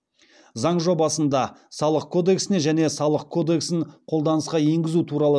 заң жобасында салық кодексіне және салық кодексін қолданысқа енгізу туралы